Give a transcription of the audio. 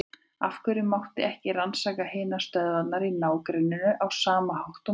Af hverju mátti ekki rannsaka hinar stöðvarnar í ná- grenninu á sama hátt og mína?